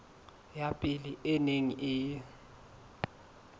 ya pele e neng e